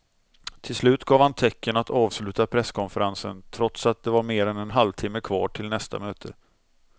Till slut gav han tecken att avsluta presskonferensen trots att det var mer än en halvtimme kvar till nästa möte.